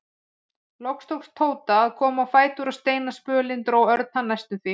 Loks tókst Tóta að komast á fætur og seinasta spölinn dró Örn hann næstum því.